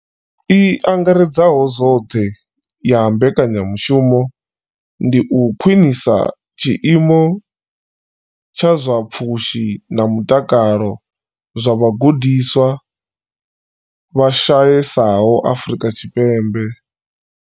I angaredzaho zwoṱhe ya mbekanyamushumo ndi u khwinisa tshiimo tsha zwa pfushi na mutakalo zwa vhagudiswa vha shayesaho Afrika Tshipembe.